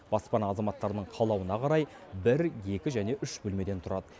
баспана азаматтарының қалауына қарай бір екі және үш бөлмеден тұрады